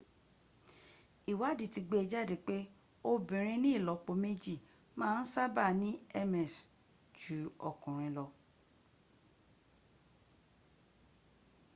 ìwádí ti gbé jáde pé obìnrin ní ìlọ́po méjì ma ń sábà ní ms ju okùnrin lọ